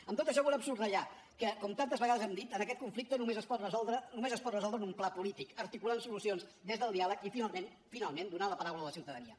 amb tot això volem subratllar que com tantes vegades hem dit aquest conflicte només es pot resoldre en un pla polític articulant solucions des del diàleg i finalment finalment donant la paraula a la ciutadania